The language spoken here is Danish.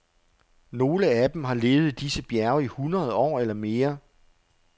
Nogle af dem har levet i disse bjerge i hundrede år eller mere.